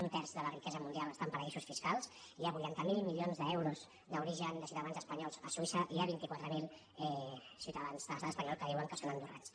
un terç de la riquesa mundial està en paradisos fiscals hi ha vuitanta miler milions d’euros d’origen de ciuta·dans espanyols a suïssa i hi ha vint quatre mil ciutadans de l’estat espanyol que diuen que són andorrans